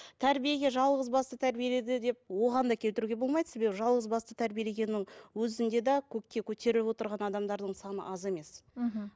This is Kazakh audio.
тәрбиеге жалғызбасты тәрбиеледі деп оған да келтіруге болмайды себебі жалғызбасты тәрбиелегеннің өзінде де көкке көтеріп отырған адамдардың саны аз емес мхм